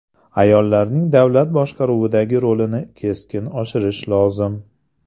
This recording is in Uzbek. Ayollarning davlat boshqaruvidagi rolini keskin oshirish lozim.